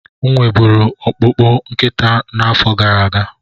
M nwe buru ọkpụkpụ nkịta n'afọ gara aga.